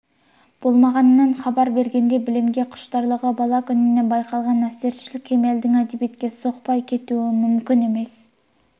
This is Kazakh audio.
болмағанынан хабар бергендей білімге құштарлығы бала күнінен байқалған әсершіл кемелдің әдебиетке соқпай кетуі мүмкін емес